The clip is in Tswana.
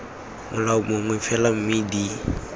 molao mongwe fela mme d